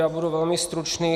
Já budu velmi stručný.